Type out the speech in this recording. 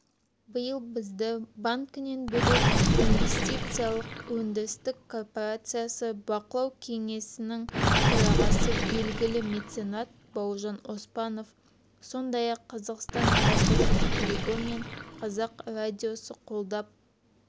биыл бізді банкінен бөлек инвестициялық-өндірістік корпорациясы бақылау кеңесінің төрағасы белгілі меценат бауыржан оспанов сондай-ақ қазақстан баспасөз клубы мен қазақ радиосы қолдап